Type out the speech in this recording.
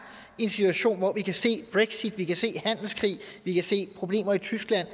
i en situation hvor vi kan se brexit vi kan se handelskrig vi kan se problemer i tyskland